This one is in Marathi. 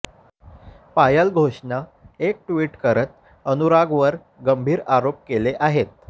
पायल घोषनं एक ट्विट करत अनुरागवर गंभीर आरोप केले आहेत